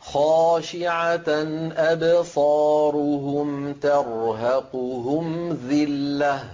خَاشِعَةً أَبْصَارُهُمْ تَرْهَقُهُمْ ذِلَّةٌ ۖ